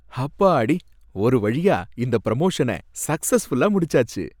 ஹப்பாடி! ஒரு வழியா இந்த ப்ரமோஷன சக்ஸஸ்ஃபுல்லா முடிச்சாச்சு